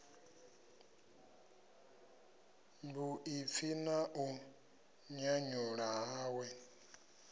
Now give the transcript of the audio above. vhuḓipfi na u nyanyuwa hawe